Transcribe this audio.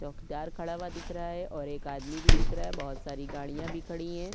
चॉकदार खडा हुआ दिख रहा है और एक आदमी भी दिख रहा है बहुत सारी गाडियाँ भी खडी है।